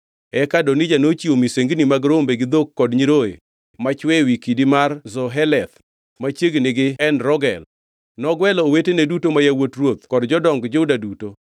Eka Adonija nochiwo misengini mag rombe gi dhok kod nyiroye machwe ewi kidi mar Zoheleth machiegni gi En Rogel. Nogwelo owetene duto, ma yawuot ruoth kod jodong Juda duto,